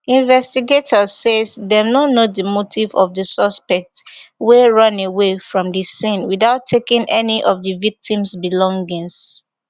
investigators say dem no know di motive of di suspect wey runaway from di scene witout taking any of di victim belongings